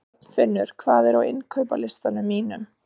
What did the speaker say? Arnfinnur, hvað er á innkaupalistanum mínum?